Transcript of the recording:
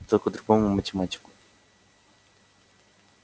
только другому математику